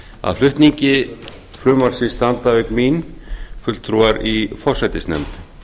að flutningi frumvarpsins standa auk mín fulltrúar í forsætisnefnd